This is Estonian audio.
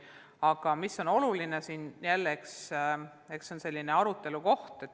Eks see on jälle selline oluline arutelu koht.